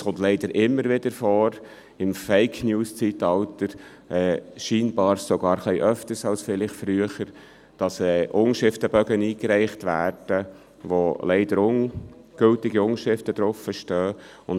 Es kommt leider immer wieder vor, dass Unterschriftenbögen mit ungültigen Unterschriften eingereicht werden – im «Fake News-Zeitalter» anscheinend sogar öfter als vielleicht früher.